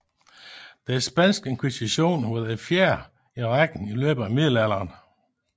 Den spanske inkvisition var den fjerde i rækken i løbet af Middelalderen